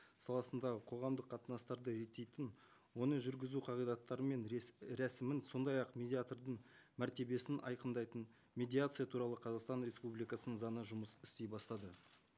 саласындағы қоғамдық қатынастарды реттейтін оны жүргізу қағидаттары мен рәсімін сондай ақ медиатордың мәртебесін айқындайтын медиация туралы қазақстан республикасының заңына жұмыс істей бастады